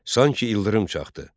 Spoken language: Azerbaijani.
Sanki ildırım çaxdı.